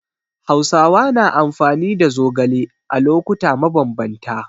Hausawa na amfani da zogale a lokuta mabambanta.